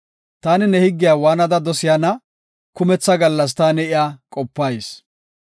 Taani ne higgiya waanada dosiyana! kumetha gallas taani iya qopayis.